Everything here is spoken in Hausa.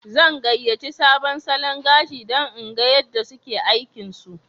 Zan gayace sabon salon gashi dan in gan yada suke aikin su